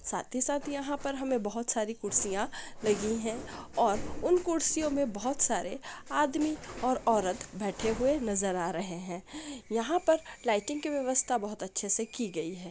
साथी साथ यहा पर हमें बोहोत सारी कुरसिया लगी है और उन कुर्सियों मै बहोत सारे आदमी और औरत बैठे हुआ नजर आ रहे है यहा पर लाइटिंग की व्यवस्था बोहोत अच्छे से की गई है।